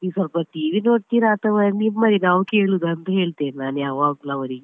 ನೀವು ಸ್ವಲ್ಪ TV ನೋಡ್ತೀರಾ ಅಥವಾ ನಿಮ್ಮದೇ ನಾವು ಕೇಳುದ ಅಂತ ಹೇಳ್ತೇನೆ ನಾನು ಯಾವಾಗಲೂ ಅವರಿಗೆ.